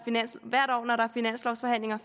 finanslovforhandlinger